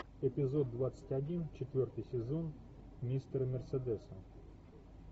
эпизод двадцать один четвертый сезон мистер мерседес